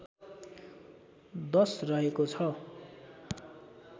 १० रहेको छ